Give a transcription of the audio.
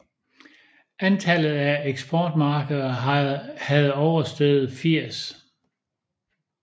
Antallet af eksportmarkeder havde oversteget 80